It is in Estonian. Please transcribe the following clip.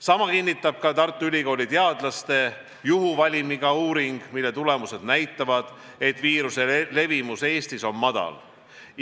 Sama kinnitab Tartu Ülikooli teadlaste juhuvalimiga uuring, mille tulemused näitavad, et viiruse levimus Eestis on madal.